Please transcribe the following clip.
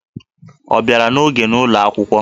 Ọ bịara n'oge n'ụlọ akwụkwọ?